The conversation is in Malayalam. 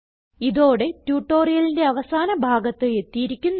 ഇതോടെ ട്യൂട്ടോറിയലിന്റെ അവസാന ഭാഗത്ത് എത്തിയിരിക്കുന്നു